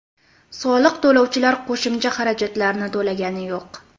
Soliq to‘lovchilar qo‘shimcha xarajatlarni to‘lagani yo‘q.